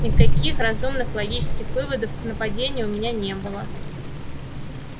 никаких разумных логических выводов к нападению у меня не было